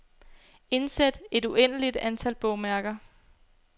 Indsæt et uendeligt antal bogmærker.